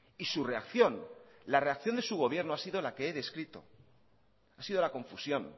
y su reacción la reacción de su gobierno ha sido la que he descrito ha sido la confusión